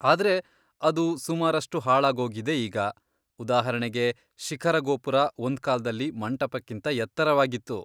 ಆದ್ರೆ ಅದು ಸುಮಾರಷ್ಟು ಹಾಳಾಗೋಗಿದೆ ಈಗ, ಉದಾಹರಣೆಗೆ ಶಿಖರ ಗೋಪುರ ಒಂದ್ಕಾಲ್ದಲ್ಲಿ ಮಂಟಪಕ್ಕಿಂತ ಎತ್ತರವಾಗಿತ್ತು.